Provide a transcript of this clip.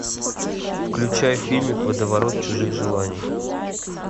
включай фильмик водоворот чужих желаний